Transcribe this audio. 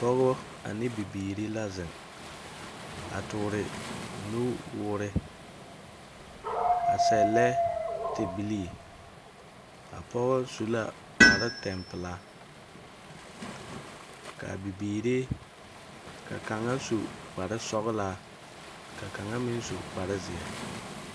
Pɔɔbɔ ane bibiiri la zeŋ a toore nu woore, a sɛllɛ tebilii. A pɔgɔ su la kparo tempelaa. Kaa bibiiri ka kaŋa su kparo sɔglaa, ka kaŋa meŋ su kparzeɛ.